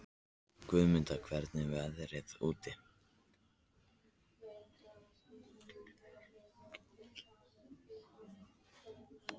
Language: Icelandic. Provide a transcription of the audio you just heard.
Guðmunda, hvernig er veðrið úti?